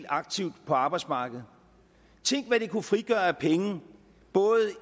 aktive på arbejdsmarkedet tænk hvad det kunne frigøre af penge både